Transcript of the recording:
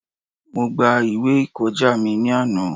Mo gba ìwé ìkọjá mi ní àná.